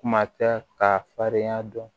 Kuma tɛ k'a farinya dɔn